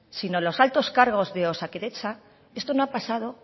sino los altos cargos de osakidetza esto no ha pasado